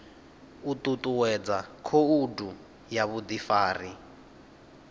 u ṱuṱuwedza khoudu ya vhuḓifari